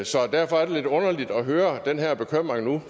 så derfor er det lidt underligt at høre den her bekymring nu